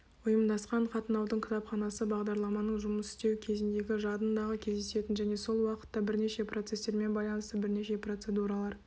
ұйымдасқан қатынаудың кітапханасы бағдарламаның жұмыс істеу кезіндегі жадындағы кездесетін және сол уақытта бірнеше процестермен байланысты бірнеше процедуралар